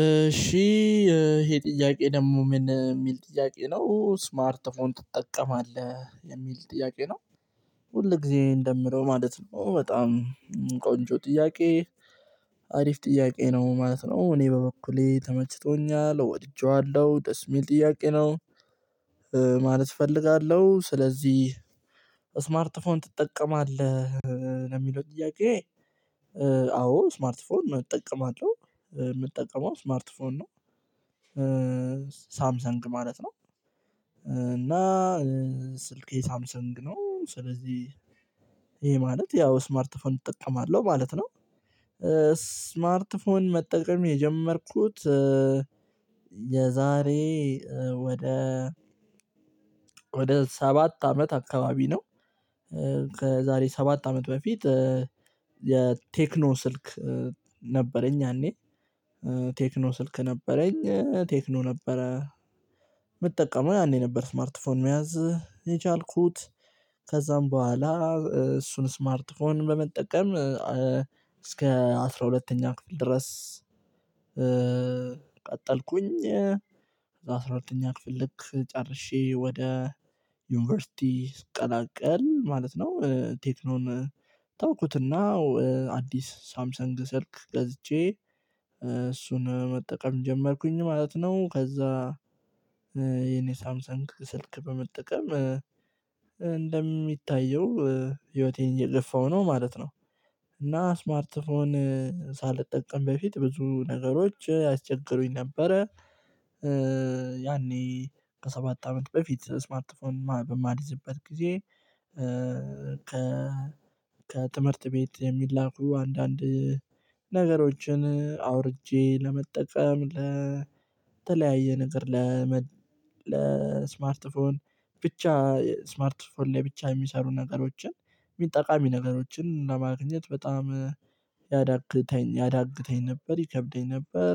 እሺ ይሄ ጥያቄ ደግሞ ምን የሚል ጥያቄ ነው ስማርት ፎን ትጠቀማለህ የሚል ጥያቄ ነው። ሁል ጊዜ እንደምለው ማለት ነው በጣም ቆንጆ ጥያቄ። አሪፍ ጥያቄ ነው ማለት ነው እኔ በበኩሌ ተመችቶኛል ወድጄዋለሁ ደስ የሚል ጥያቄ ነው። ማለት እፈልጋለሁ ስለዚህ ስማርት ፎን ትጠቀማለህ። ለሚለው ጥያቄ? አዎ ስማርት ፎን እጠቀማለሁ የምጠቀመው ስማርት ፎን ነው። ሳምሰንግ ማለት ነው። እና ስልኬ ሳምሰንግ ነው ስለዚህ ይሄ ማለት ያው ስማርት ፎን እጠቀማለሁ ማለት ነው። ስማርት ፎን መጠቀም የጀመርኩት የዛሬ ወደ ወደ ሰባት አመት አካባቢ ነው፤ ከዛሬ ሰባት አመት በፊት የቴክኖ ስልክ ነበረኝ። ያኔ ቴክኖ ስልክ ነበረኝ ቴክኖ ነበረ። የምጠቀመው ያኔ ነበር ስማርት ፎን መያዝ የቻልኩት። ከዛም በኋላ እሱን ስማርት ፎን በመጠቀም እስከ አስራ ሁለተኛ ክፍል ድረስ። ቀጠልኩኝ። ሁለተኛ ክፍል ልክ ጨርሼ ወደ ዩኒቨርሲቲ ስቀላቀል ማለት ነው ቴክኖን ተውኩትና አዲስ ሳምሰንግ ስልክ ገዝቼ እሱን መጠቀም ጀመርኩኝ ማለት ነው። ከዛ የኔ ሳምሰን ስልክ በመጠቀም እንደሚታየው ህይወቴን እየገፋው ነው ማለት ነው። እና ስማርት ፎን ሳልጠቀም በፊት ብዙ ነገሮች ያስቸግሩኝ ነበረ። ያኔ ከሰባት አመት በፊት ስማርት ፎን በማልዝበት ጊዜ። ከ ከትምህርት ቤት የሚላኩ አንዳንድ ነገሮችን አውርጄ ለመጠቀም ለተለያየ ነገር ለስማርት ፎን ብቻ ስማርት ስማርት ስማርት ፎን ላይ ብቻ የሚሰሩ ነገሮችን ጠቃሚ ነገሮችን ለማግኘት በጣም ያዳግተኝ ያዳግተኝ ነበር ይከብደኝ ነበር።